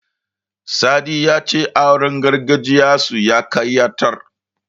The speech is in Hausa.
Sadi ya ce auren gargajiyarsu ya ƙayatar.